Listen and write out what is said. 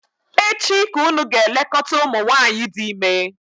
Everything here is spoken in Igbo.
echi ka unu ga-elekọta umunwanyi di ime!